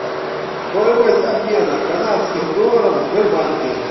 стоимость обмена канадских долларов в сбербанке